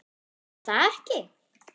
er það ekki?